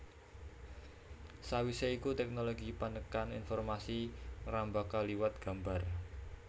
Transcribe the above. Sawisé iku tèknologi panekan informasi ngrembaka liwat gambar